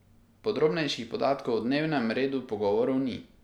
Podrobnejših podatkov o dnevnem redu pogovorov ni.